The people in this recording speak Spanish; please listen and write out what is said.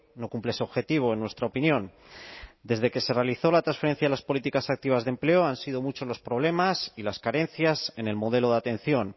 no cumple ese objetivo en nuestra opinión desde que se realizó la transferencia de las políticas activas de empleo han sido muchos los problemas y las carencias en el modelo de atención